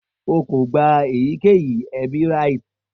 O ko gba eyikeyi ebi rites